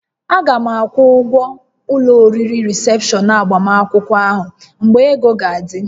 A ga m akwụ ụgwọ ụlọ oriri rịsepshọn agbamakwụkwọ ahụ mgbe ego ga-adị